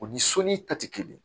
U ni soli ta ti kelen ye